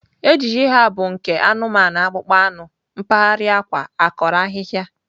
Ejiji ha bụ nke anụmanụ akpụkpọ anụ mpaghara akwa, akọrọ ahịhịa.